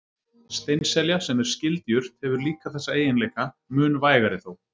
Steinselja, sem er skyld jurt, hefur líka þessa eiginleika, mun vægari þó.